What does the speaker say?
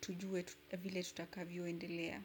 tujue vile tutakavyo endelea.